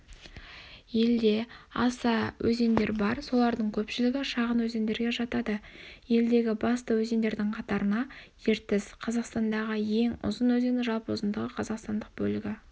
елде аса өзендер бар солардың көпшілігі шағын өзендерге жатады елдегі басты өзендердің қатарына ертіс қазақстандағы ең ұзын өзен жалпы ұзындығы қазақстандық бөлігі